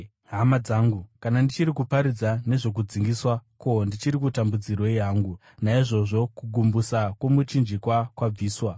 Hama dzangu, kana ndichiri kuparidza nezvokudzingiswa, ko, ndichiri kutambudzirwei hangu? Naizvozvo kugumbusa kwomuchinjikwa kwabviswa.